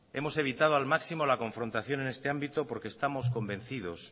hemos evitamos al máximo la confrontación en este ámbito porque estamos convencido